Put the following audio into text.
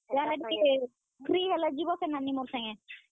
କହେସିଁ, ମୁଇଁ ଗଲେ ଯିବ କେଁ ନାନୀ ମୋର ସାଙ୍ଗେ?